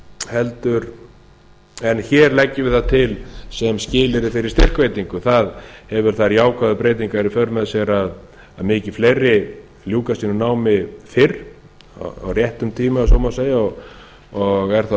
heldur en hér leggjum við það til sem skilyrði fyrir styrkveitingu það hefur þær jákvæðu breytingar í för með sér að mikið fleiri ljúka sínu námi fyrr á réttum tíma ef svo má segja og er það